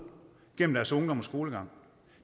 gennem deres ungdom og skolegang